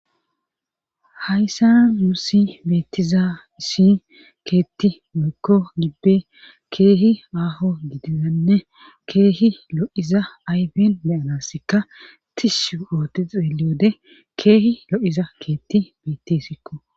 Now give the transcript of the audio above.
hayssa nuusi beettiza isi keetti woyikko gibbe keehi aaho gidizanne keehi lo'iza ayben beyanaska tishu oote xeeliwode keehi lo'iza keetti beettisikko